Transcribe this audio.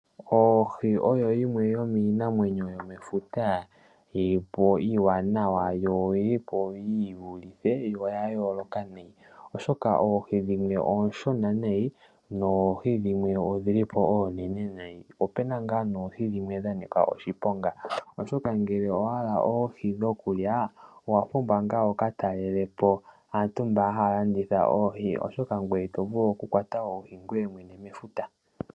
Oohi odho iinamwenyo yomefuta iipu, iiwanawa, yo oyilipo yi vulithe, ya yooloka oshoka oohi dhimwe oonene dhimwe ooshona nayi noohi dhimwe odhilipo oonene nayi, open nga oohi dhimwe dha nika oshiponga, nongele owa hala oohi dhokulya owa pumbwa wuka talelepo aantu mboka haa landitha oodhi oshoka ito vulu okuka kwata oohi ngoye mwene mefuta.